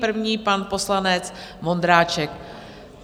První pan poslanec Vondráček.